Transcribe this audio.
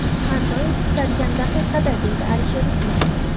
Har doim, istalgan daqiqada”, deydi Alisher Usmonov.